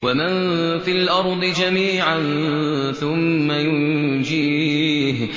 وَمَن فِي الْأَرْضِ جَمِيعًا ثُمَّ يُنجِيهِ